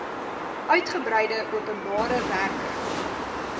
uigebreide openbare werke